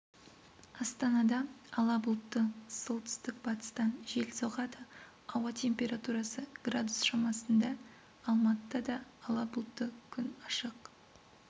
астанада ала бұлтты солтүстік-батыстан жел соғады ауа температурасы градус шамасында алматыда да ала бұлтты күн ашық